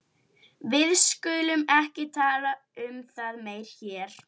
Við skulum ekki tala um það meira hér.